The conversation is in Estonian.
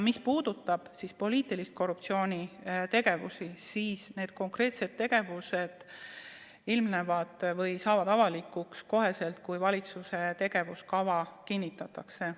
Mis puudutab poliitilist korruptsiooni, siis konkreetsed tegevused saavad avalikuks kohe, kui valitsuse tegevuskava kinnitatakse.